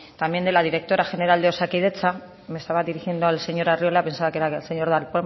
también de la directora general de osakidetza me estaba dirigiendo al señor arriola pensaba que era el señor darpón